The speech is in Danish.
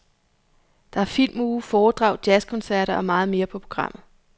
Der er filmuge, foredrag, jazzkoncerter og meget mere på programmet.